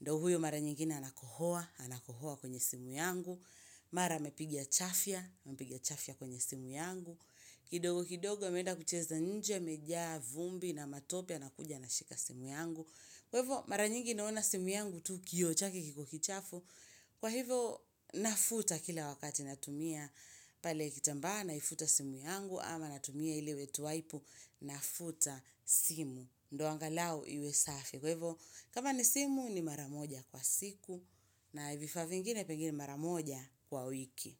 Ndo huyo mara nyingine anakohoa, anakohoa kwenye simu yangu Mara amepiga chafya, amepiga chafya kwenye simu yangu kidogo kidogo ameenda kucheza nje, amejaa vumbi na matope anakuja anashika simu yangu Kwa hivo mara nyingi naona simu yangu tu kioo chake kiko kichafu Kwa hivo nafuta kila wakati natumia pale kitambaa naifuta simu yangu ama natumia ile wet waipu nafuta simu ndo angalau iwe safi Kwa hivo, kama ni simu ni maramoja kwa siku na vifaa vingine pengine mara moja kwa wiki.